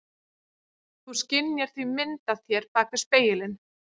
Þú skynjar því mynd af þér bak við spegilinn.